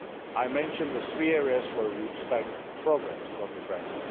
I mentioned the three areas where we expect progress from Ukraine.